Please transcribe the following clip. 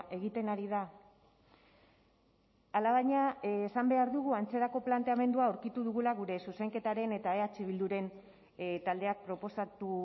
egiten ari da alabaina esan behar dugu antzerako planteamendua aurkitu dugula gure zuzenketaren eta eh bilduren taldeak proposatu